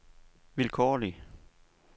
vilkårlig